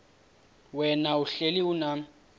wena uhlel unam